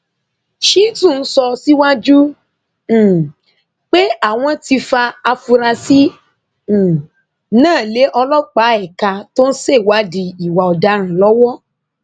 shitun sọ síwájú um pé àwọn ti fa afurasí um náà lé ọlọpàá ẹka tó ń ṣèwádìí ìwà ọdaràn lọwọ